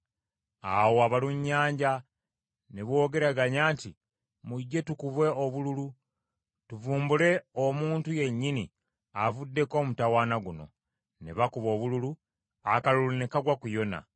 Awo abalunnyanja ne boogeraganya nti, “Mujje tukube obululu, tuvumbule omuntu yennyini avuddeko omutawaana guno.” Ne bakuba obululu, akalulu ne kagwa ku Yona.